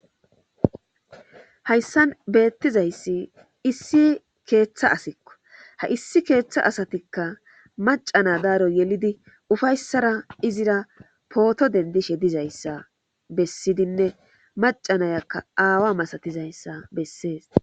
hayssan beettizayssi issi keeththa asikko ha issi keeththa asatikka macana daaro yelidi ufayssara izira pooto dendishe dizayssa bessidinne macanayakka aawa masatizayssa bessees